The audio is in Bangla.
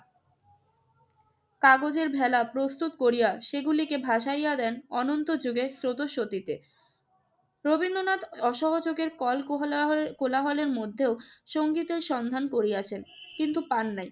কাগজের ভেলা প্রস্তুত করিয়া সেগুলিকে ভাসাইয়া দেন অনন্ত যুগের স্রোতঃস্বতীতে। রবীন্দ্রনাথ অসহযোগের কলকোহলা~ কোলাহলের মধ্যেও সংগীতের সন্ধান করিয়াছেন, কিন্তু পান নাই।